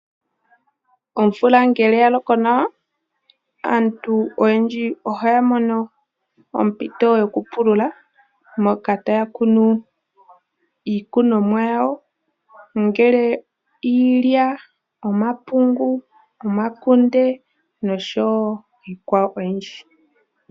Omvula ngele ya loko nawa, aantu oyendji ohaya mono ompito yokupulula moka taya kunu iikunomwa yawo, ongele iilya, omakunde, omapungu noshowo iikwawo oyindji.